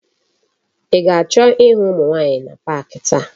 I ga-acho ihu umu nwaanyi na pak taa?